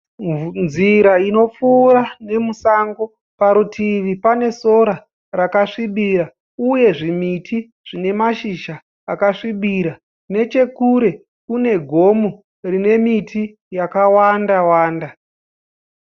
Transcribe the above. Nzira inopfuura nemusango. Parutivi pane sora rakasvibira uye zvimiti zvinemashizha asvibira. Nechekure kune gomo rinemiti yakawanda -wanda.